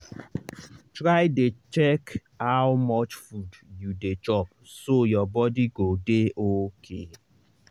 try dey check how much food you dey chop so your body go dey okay.